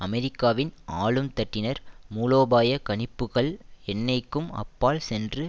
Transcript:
அமெரிக்காவின் ஆளும் தட்டினர் மூலோபாய கணிப்புக்கள் எண்ணெய்கும் அப்பால் சென்று